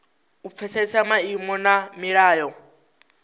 u pfesesa maimo na milayo